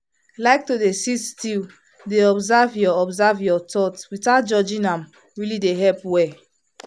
like to sit still dey observe your observe your thoughts without judging am really dey help well.